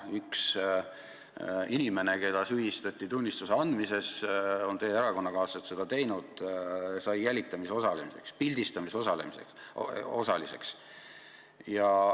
Üks inimene, keda süüdistati tunnistuse andmises – teie erakonnakaaslased on seda teinud –, sai pildistamise osaliseks.